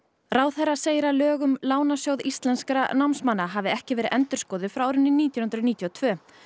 ráðherra segir að lög um Lánasjóð íslenskra námsmanna hafi ekki verið endurskoðuð frá árinu nítján hundruð níutíu og tvö